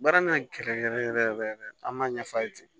Baara ka gɛlɛn yɛrɛ yɛrɛ yɛrɛ yɛrɛ an b'a ɲɛf'a ye ten